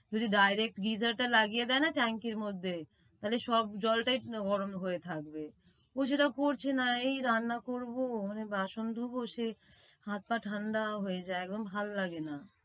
ওই যে direct Geyser টা tank এর মধ্যে তাইলে সব জলটাই গরম হয়ে থাকবে। ও সেটা করছে না এই রান্না করবো মানে বাসন ধোব সে হাত পা ঠাণ্ডা হয়ে যায়, ভাল্লাগেনা।